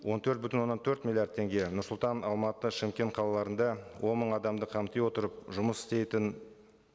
он төрт бүтін оннан төрт миллиард теңге нұр сұлтан алматы шымкент қалаларында он мың адамды қамти отырып жұмыс істейтін